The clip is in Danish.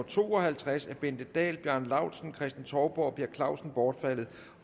to og halvtreds af bente dahl bjarne laustsen kristen touborg og per clausen bortfaldet